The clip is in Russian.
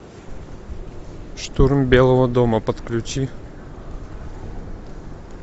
штурм белого дома подключи